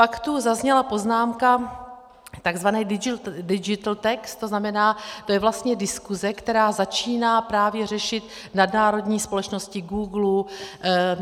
Pak tu zazněla poznámka takzvané digital tax, to znamená, to je vlastně diskuze, která začíná právě řešit nadnárodní společnosti Googlu.